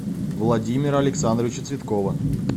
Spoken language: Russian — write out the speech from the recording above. владимира александровича цветкова